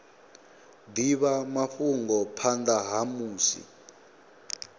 divha mafhungo phanda ha musi